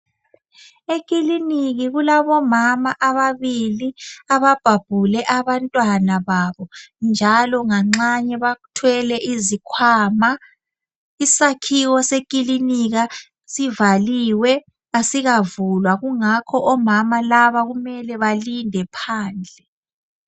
Ekiliniki kulabomama ababili ababhabhule abantwana babo, njalo nganxanye bathwele izikhwama. Isakhiwo sekilinika sivaliwe asikavulwa kungakho omama laba kumele balindephandle.